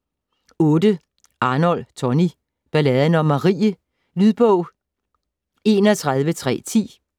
Arnold, Tonni: Balladen om Marie Lydbog 31310